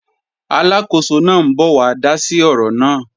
Aláàkóso náà ń bọ̀ wá dá sí ọ̀rọ̀ náà